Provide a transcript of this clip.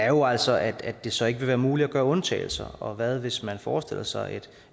jo altså er at det så ikke vil være muligt at gøre undtagelser og hvad hvis man forestiller sig et